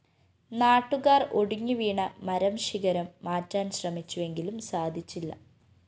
നാട്ടുകാര്‍ ഒടിഞ്ഞുവീണ മരംശിഖരം മാറ്റാന്‍ശ്രമിച്ചുവെങ്കിലും സാധിച്ചില്ല